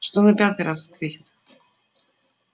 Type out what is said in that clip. что на пятый раз ответит